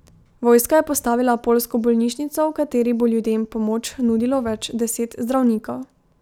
Vojska je postavila poljsko bolnišnico, v kateri bo ljudem pomoč nudilo več deset zdravnikov.